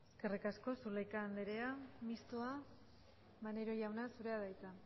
eskerrik asko zulaika anderea mistoa maneiro jauna zurea da hitza